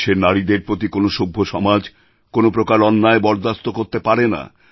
দেশের নারীদের প্রতি কোনও সভ্যসমাজ কোনও প্রকার অন্যায় বরদাস্ত করতে পারে না